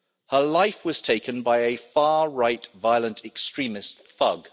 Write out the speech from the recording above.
Her life was taken by a far-right violent extremist thug.